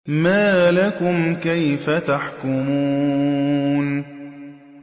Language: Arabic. مَا لَكُمْ كَيْفَ تَحْكُمُونَ